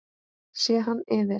Sé hann yfir